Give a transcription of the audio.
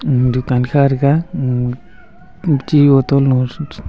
dukan kha tega un chi boton lo.